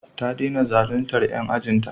Ta dena zaluntar 'yan ajin ta